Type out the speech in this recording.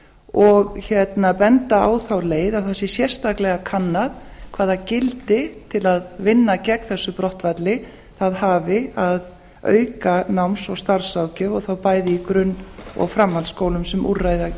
og benda á þá leið að það sé sérstaklega kannað hvaða gildi til að vinna gagn þessu brottfalli það hafi að auka náms og starfsráðgjöf og þá bæði í grunn og framhaldsskólum sem